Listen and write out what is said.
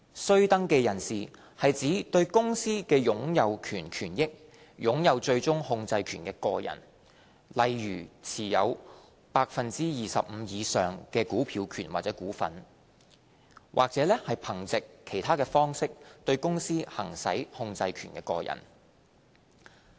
須登記人士是指對公司的擁有權權益擁有最終控制權的個人，例如持有 25% 以上的投票權或股份，或憑藉其他方式對公司行使控制權的個人。